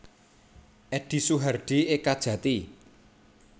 Edi Suhardi Ekajati